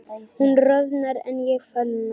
Hún roðnar en ég fölna.